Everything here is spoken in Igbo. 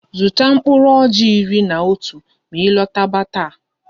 Zụta mkpụrụ ọjị iri na atọ ma ị lọtaba taa!